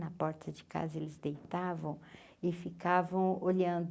Na porta de casa eles deitavam e ficavam olhando